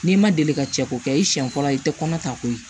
N'i ma deli ka cɛ ko kɛ i siɲɛ fɔlɔ i tɛ kɔnɔ ta koyi